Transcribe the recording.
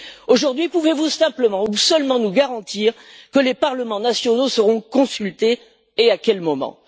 Aujourd'hui, pouvez vous simplement ou seulement nous garantir que les parlements nationaux seront consultés, et à quel moment?